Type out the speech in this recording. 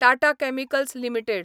Tata chemicals limited